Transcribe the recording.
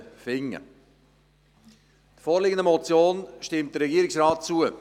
Der vorliegenden Motion stimmt der Regierungsrat zu.